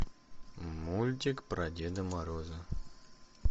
мультик про деда мороза